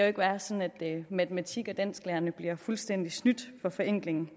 ikke være sådan at matematik og dansklærerne bliver fuldstændig snydt for forenkling